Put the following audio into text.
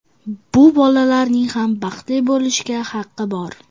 Bu bolalarning ham baxtli bo‘lishga haqqi bor.